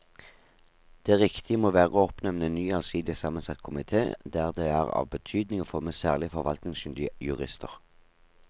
Det riktige må være å oppnevne en ny allsidig sammensatt komite der det er av betydning å få med særlig forvaltningskyndige jurister.